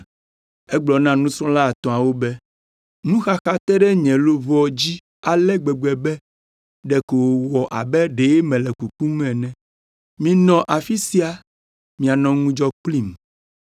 Egblɔ na nusrɔ̃la etɔ̃awo be, “Nuxaxa te ɖe nye luʋɔ dzi ale gbegbe be ɖeko wòwɔ abe ɖe mele kukum ene. Minɔ afi sia mianɔ ŋudzɔ kplim.”